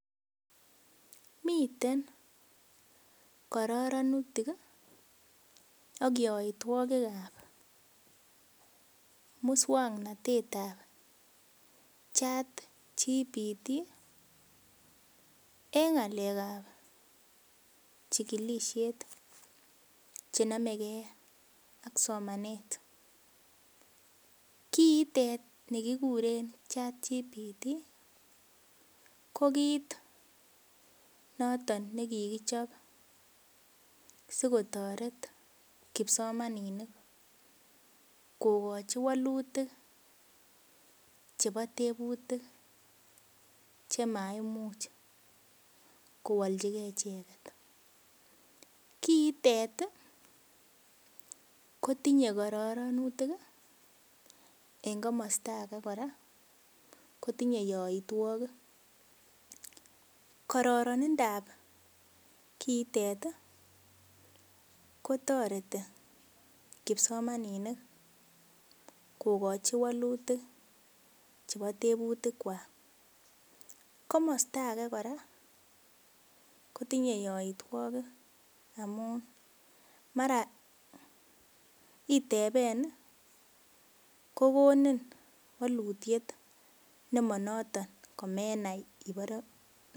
Miten kororonutik ak yoitwogik ab muswongnotet ab chatgpt en ng'alek ab chigilisiet chenomegee ak somanet. Kiitet ni kikuren chatgpt ko kit noton nekokichob sikotoret kipsomaninik kokochi wolutik chebo tebutik chemaimuch kowoljigee icheket. Kiitet kotinye kororonutik en komosta ake kora kotinye yoitwogik. Kororonindap kiitet kotoreti kipsomaninik kokochi wolutik chebo tebutik kwak komosta age kora kotinye yoitwogik amun mara iteben kokonin wolutiet nemonoton komenai